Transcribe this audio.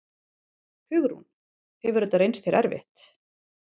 Hugrún: Hefur þetta reynst þér erfitt?